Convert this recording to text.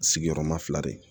Sigiyɔrɔma fila de